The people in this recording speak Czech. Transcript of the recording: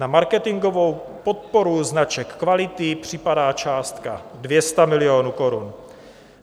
Na marketingovou podporu značek kvality připadá částka 200 milionů korun.